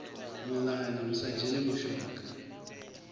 muḽani hu sa dzheni mushonga